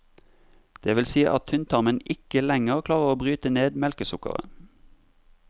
Det vil si at tynntarmen ikke lenger klarer å bryte ned melkesukkeret.